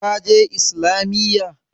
Ka je Islamiyya?